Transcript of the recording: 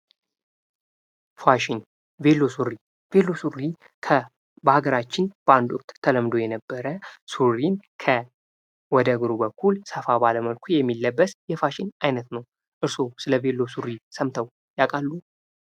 ፋሽን ቬሎ ሱሪ ቬሎ ሱሪ በሀገራችን በአንድ ወቅት ተለምዶ የነበረ ሱሪ ወደ እግሩ በኩል ሰፋ ባለ የሚለበት የፋሽን አይነት ነው። እርስዎ ስለ ቬሎ ሱሪ ሰምተው ያውቃሉ?